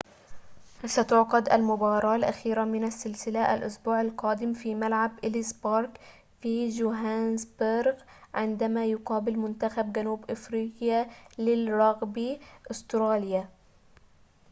ستُعقد المباراة الأخيرة من السلسلة الأسبوع القادم في ملعب إليس بارك في جوهانسبرغ عندما يقابل منتخب جنوب أفريقيا للرغبي أستراليا